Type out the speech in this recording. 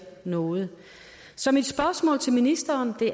noget så mit spørgsmål til ministeren